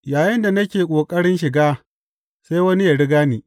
Yayinda nake ƙoƙarin shiga, sai wani yă riga ni.